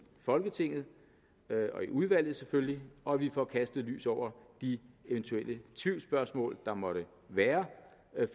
folketinget og i udvalget og at vi får kastet lys over de eventuelle tvivlsspørgsmål der måtte være